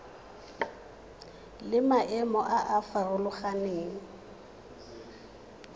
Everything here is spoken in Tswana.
le maemo a a farologaneng